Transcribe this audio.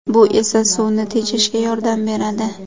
Bu esa suvni tejashga yordam beradi”.